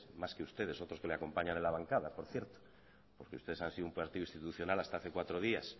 más que ustedes otros que les acompañan en la bancada por cierto porque ustedes han sido un partido institucional hasta hace cuatro días